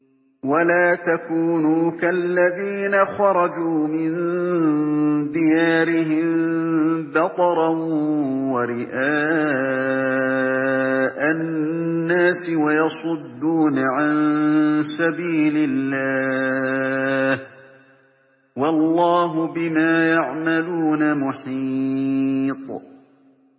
وَلَا تَكُونُوا كَالَّذِينَ خَرَجُوا مِن دِيَارِهِم بَطَرًا وَرِئَاءَ النَّاسِ وَيَصُدُّونَ عَن سَبِيلِ اللَّهِ ۚ وَاللَّهُ بِمَا يَعْمَلُونَ مُحِيطٌ